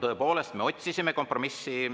Tõepoolest, me otsisime kompromissi.